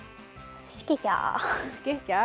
skikkja skikkja